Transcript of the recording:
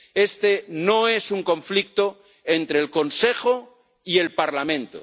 Este no es un conflicto entre el Consejo y el Parlamento.